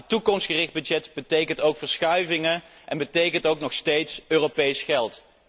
Maar toekomstgericht budget betekent ook verschuivingen en betekent ook nog steeds Europees geld.